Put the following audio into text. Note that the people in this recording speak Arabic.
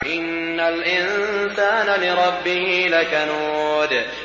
إِنَّ الْإِنسَانَ لِرَبِّهِ لَكَنُودٌ